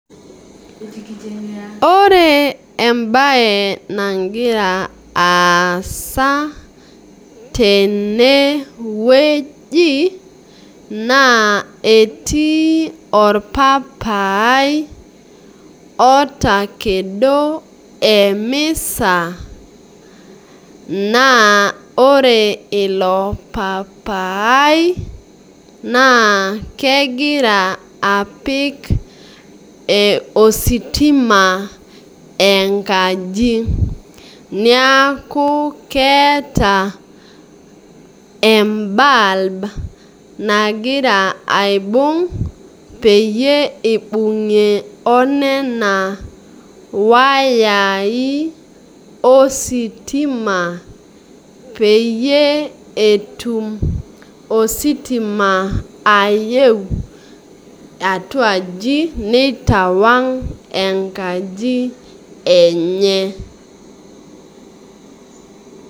Ore embae nagira aasa tenewueji naa etii orpapai otakedo emisa naa ore ilo paapai naa kegira apik ositima enkaji niaku keeta ebulb nagira aibung peyie ibungie onena wayai ositima peyie etumositima ae atua aji nitawang enkaji enye.